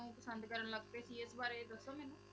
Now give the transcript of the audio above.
ਨੂੰ ਪਸੰਦ ਕਰਨ ਲੱਗ ਪਏ ਸੀ, ਇਸ ਬਾਰੇ ਦੱਸੋ ਮੈਨੂੰ।